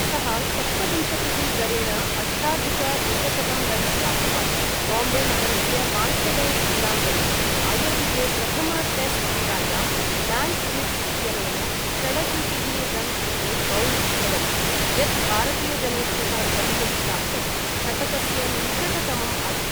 सः सप्तविंशतिः दरेण अष्टाधिक एकशतं रन्स् प्राप्तवान्, बाम्बे नगरस्य वाङ्खेडे क्रीडाङ्गणे आयोजिते प्रथम टेस्ट् क्रीडायाम् ल्यान्स् गिब्स् इत्यनेन षडशीतिः रन् कृते बौल्ड् अभवत्, यत् भारतीयजनेभ्यः द्रष्टुं प्राप्तम् शतकस्य निकटतमम् आसीत्।